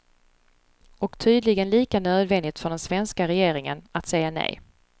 Och tydligen lika nödvändigt för den svenska regeringen att säga nej.